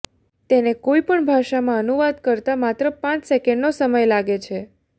તેને કોઇ પણ ભાષામાં અનુવાદ કરતા માત્ર પાંચ સેકન્ડનો સમય લાગે છે